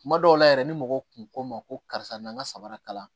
Kuma dɔw la yɛrɛ ni mɔgɔw kun ko n ma ko karisa n ka sabara kalan